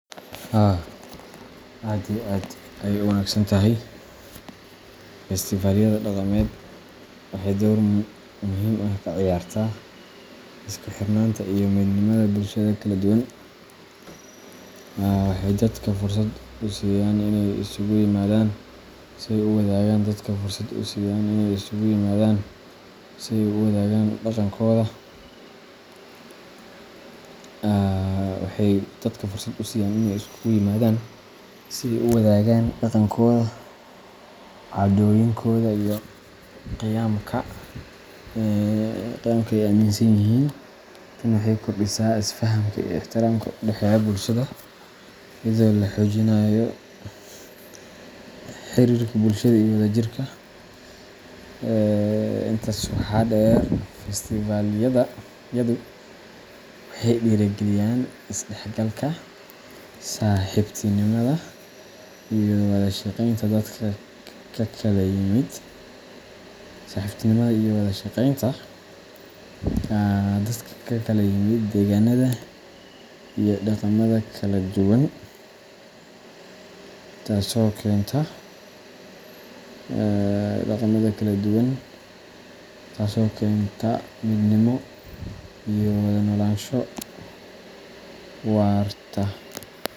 Haa aad iyo aad ayey u wanagsan tahay. Festival-yada dhaqameed waxay door muhiim ah ka ciyaaraan isku xirnaanta iyo midnimada bulshada kala duwan. Waxay dadka fursad u siiyaan inay isugu yimaadaan si ay u wadaagaan dhaqankooda, caadooyinkooda iyo qiyamka ay aaminsan yihiin. Tani waxay kordhisaa isfahamka iyo ixtiraamka u dhexeeya bulshada, iyadoo la xoojinayo xiriirka bulshada iyo wadajirka. Intaa waxaa dheer, festival-yadu waxay dhiirrigeliyaan is-dhexgalka, saaxiibtinimada, iyo wada shaqeynta dadka ka kala yimid deegaanada iyo dhaqamada kala duwan, taasoo keenta midnimo iyo wada noolaansho waarta.